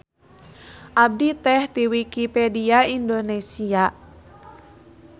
Abdi teh ti Wikipedia Indonesia.